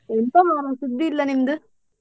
ಎಂತ ಮರ್ರೆ ಸುದ್ದಿ ಇಲ್ಲ ನಿಮ್ದು.